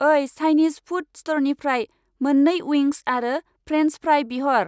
ओइ, Chinese food stir fry मोन्नै उइंस आरो फ्रेन्स फ्राइ बिहर।